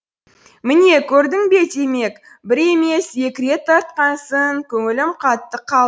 міне көрдің бе демек бір емес екі рет тартқансың көңілім қатты қалды